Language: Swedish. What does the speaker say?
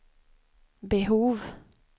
behov